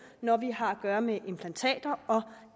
når vi har at gøre med implantater og